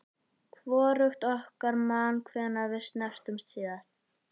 Hvorugt okkar man hvenær við snertumst síðast.